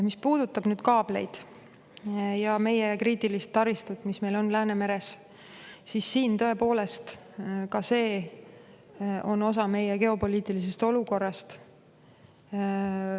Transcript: Mis puudutab nüüd kaableid ja kriitilise taristut, mis meil Läänemeres on, siis tõepoolest, ka see on osa meie geopoliitilisest olukorrast.